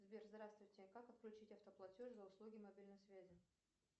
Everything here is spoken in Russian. сбер здравствуйте как отключить автоплатеж за услуги мобильной связи